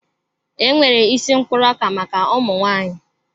E nwere isi mkpụrụ ọka maka ụmụnwaanyị.